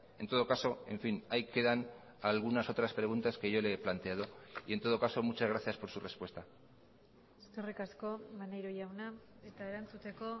en todo caso en fin ahí quedan algunas otras preguntas que yo le he planteado y en todo caso muchas gracias por su respuesta eskerrik asko maneiro jauna eta erantzuteko